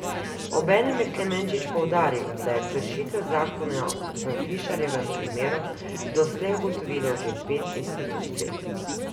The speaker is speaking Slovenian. Obenem je Klemenčič poudaril, da je kršitev zakona v Fišerjevem primeru doslej ugotovilo že pet institucij.